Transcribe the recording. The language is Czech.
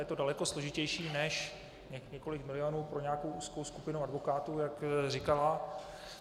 Je to daleko složitější než několik milionů pro nějakou úzkou skupinu advokátů, jak říkala.